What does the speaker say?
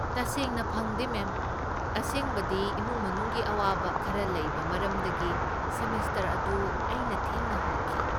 ꯇꯁꯦꯡꯅ ꯐꯪꯗꯦ, ꯃꯦꯝ, ꯑꯁꯦꯡꯕꯗꯤ, ꯏꯃꯨꯡ ꯃꯅꯨꯡꯒꯤ ꯑꯋꯥꯕ ꯈꯔ ꯂꯩꯕ ꯃꯔꯝꯗꯒꯤ ꯁꯦꯃꯦꯁꯇꯔ ꯑꯗꯨ ꯑꯩꯅ ꯊꯦꯡꯅ ꯍꯧꯈꯤ ꯫